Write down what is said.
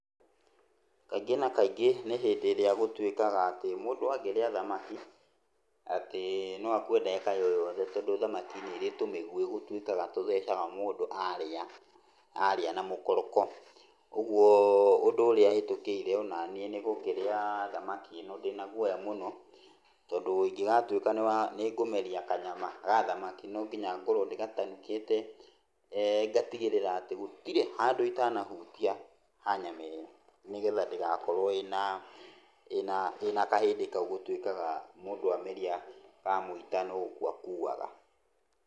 Kaingĩ na kaingĩ niĩ hĩndĩ ĩrĩa gũtuĩkaga atĩ mũndũ angĩrĩa thamaki, atĩ no akue ndagĩka oroyothe tondũ thamaki nĩrĩ tũmĩguĩ gũtũikaga tũthecaga mũndũ arĩa arĩa na mũkoroko. Ũguo ũndũ ũrĩa hetũkĩire onaniĩ nĩ gũkĩrĩa thamaki ĩno ndĩna gũoya mũno, tondũ ongĩgatuĩka nĩ wa nĩ ngũmeria kanyama ga thamaki nonginya ngorwo ndĩgatanukĩte, ngatigĩrĩra atĩ gũtirĩ handũ itanahutia ha nyama ĩyo. Nĩgetha ndĩgakorwo ĩna ĩna ĩna kahĩndĩ kau gũtuĩkaga mũndũ ameria, kamũita no gũkua akuaga.